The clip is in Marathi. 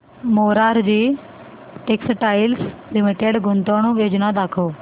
मोरारजी टेक्स्टाइल्स लिमिटेड गुंतवणूक योजना दाखव